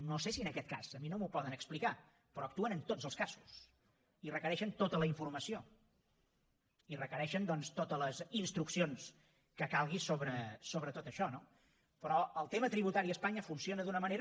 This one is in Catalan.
no sé si en aquest cas a mi no m’ho poden explicar però actuen en tots els casos i requereixen tota la informació i requereixen doncs totes les instruccions que calgui sobre tot això no però el tema tributari a espanya funciona d’una manera